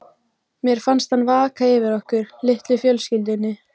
Mér finnst hann vaka yfir okkur, litlu fjölskyldunni.